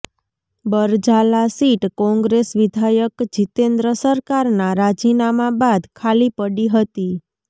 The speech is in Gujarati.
બરજાલા સીટ કોંગ્રેસ વિધાયક જિતેન્દ્ર સરકારના રાજીનામા બાદ ખાલી પડી હતી